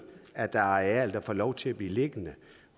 at der er arealer der får lov til at blive liggende